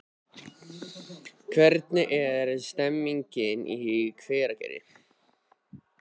Hvernig er stemningin í Hveragerði?